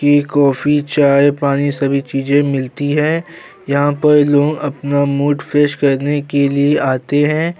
T coffee चाय पानी सभी चीज़े मिलती हैं यहां पर लोग अपना मूड फ्रेश करने के लिए आते हैं।